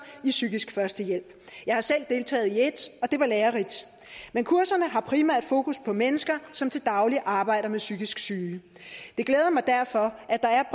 i psykisk førstehjælp jeg har selv deltaget i et og det var lærerigt men kurserne har primært fokus på mennesker som til daglig arbejder med psykisk syge det glæder mig derfor at der er